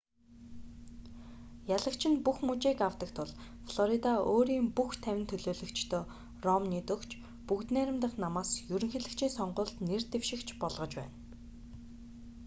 ялагч нь бүх мужийг авдаг тул флорида өөрийн бүх тавин төлөөлөгчдөө ромнид өгч бүгд найрамдах намаас ерөнхийлөгчийн сонгуульд нэр дэвшигч болгож байна